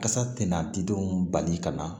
Kasa tɛna di denw bali ka na